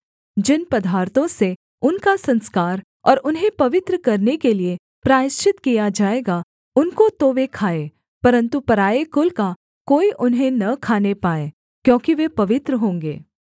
जिन पदार्थों से उनका संस्कार और उन्हें पवित्र करने के लिये प्रायश्चित किया जाएगा उनको तो वे खाएँ परन्तु पराए कुल का कोई उन्हें न खाने पाए क्योंकि वे पवित्र होंगे